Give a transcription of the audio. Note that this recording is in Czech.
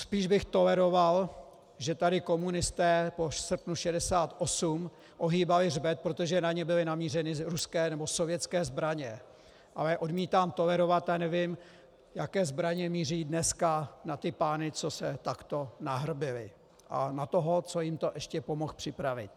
Spíš bych toleroval, že tady komunisté po srpnu 1968 ohýbali hřbet, protože na ně byly namířeny ruské nebo sovětské zbraně, ale odmítám tolerovat a nevím, jaké zbraně míří dneska na ty pány, co se takto nahrbili, a na toho, co jim to ještě pomohl připravit.